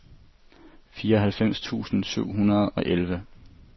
fireoghalvfems tusind syv hundrede og elleve